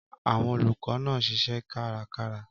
Àwọn olùkọ́ náà ń ṣiṣẹ́ kárakára.